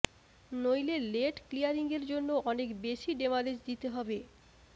নইলে লেট ক্লিয়ারিংয়ের জন্য অনেক বেশি ডেমারেজ দিতে হবে